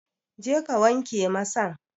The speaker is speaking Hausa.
Jeka ka wanke masan!